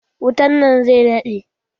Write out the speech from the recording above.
Wutan nan zai daɗe.